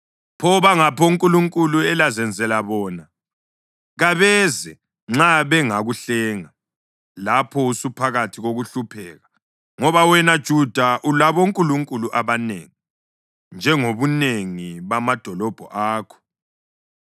Pho bangaphi onkulunkulu elazenzela bona? Kabeze nxa bengakuhlenga lapho usuphakathi kokuhlupheka! Ngoba wena Juda ulabonkulunkulu abanengi njengobunengi bamadolobho akho.